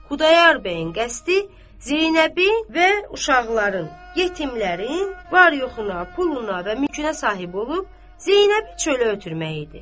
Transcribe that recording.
Xudayar bəyin qəsdi Zeynəbin və uşaqların yetimlərin var-yoxuna, puluna və mülkünə sahib olub Zeynəbi çölə ötürmək idi.